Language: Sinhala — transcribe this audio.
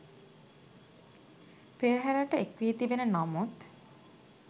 පෙරහරට එක් වී තිබෙන නමුත්